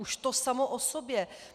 Už to samo o sobě.